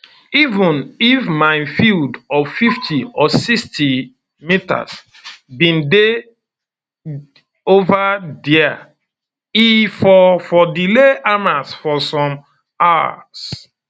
even if minefield of 50 or 60 metres bin dey ova dia e for for delay hamas for some um hours